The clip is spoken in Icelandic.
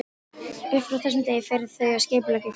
Upp frá þessum degi fóru þau að skipuleggja flóttann.